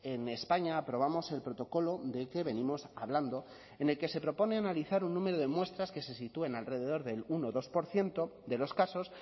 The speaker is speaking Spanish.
en españa aprobamos el protocolo de que venimos hablando en el que se propone analizar un número de muestras que se sitúen alrededor del uno o dos por ciento de los casos